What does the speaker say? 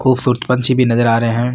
खूबसूरत पंछी भी नजर आ रहे है।